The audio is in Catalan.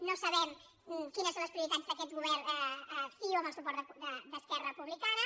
no sabem quines són les prioritats d’aquest govern de ciu amb el suport d’esquerra republicana